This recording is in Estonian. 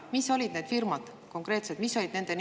Mis firmad need konkreetselt olid?